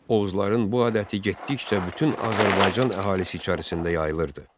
Oğuzların bu adəti getdikcə bütün Azərbaycan əhalisi içərisində yayılırdı.